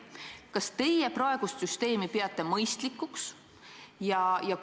Kas teie peate praegust süsteemi mõistlikuks?